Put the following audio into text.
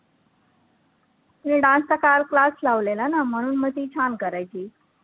तिने dance चा class लावलेला ना म्हणून मग ती छान करायची.